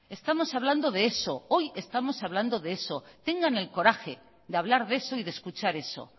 estamos hablando de eso hoy estamos hablando de eso tengan el coraje de hablar de eso y de escuchar eso